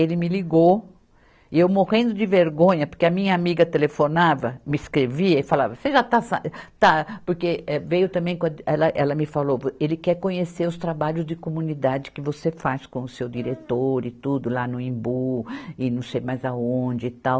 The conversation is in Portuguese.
Ele me ligou, e eu morrendo de vergonha, porque a minha amiga telefonava, me escrevia e falava, você já está sa, está, porque eh, veio também quando, ela, ela me falou, vo, ele quer conhecer os trabalhos de comunidade que você faz com o seu diretor e tudo lá no Imbu, e não sei mais aonde e tal.